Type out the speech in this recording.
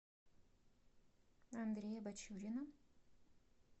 андрея бачурина